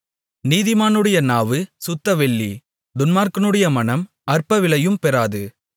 நீதிமானுடைய நாவு சுத்தவெள்ளி துன்மார்க்கனுடைய மனம் அற்பவிலையும் பெறாது